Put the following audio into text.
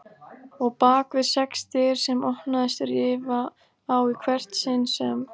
Og bakvið sex dyr sem opnaðist rifa á í hvert sinn sem